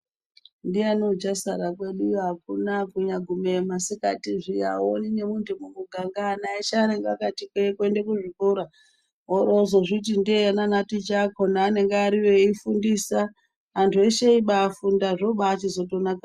Ndiyani uchasara kweduyo hakuna kunyaagumeyo masikati zviya hauoni nemuntu mumuganga ana eshe anenge akati kwee kuenda kuzvikora. Woorozviti nde-e naanaticha akona anenge ariyo eifundisa. Antu eshe eibaafunda, zvochitonaka ...